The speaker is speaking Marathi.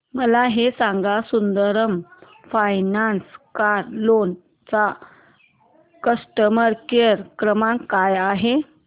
मला हे सांग सुंदरम फायनान्स कार लोन चा कस्टमर केअर क्रमांक काय आहे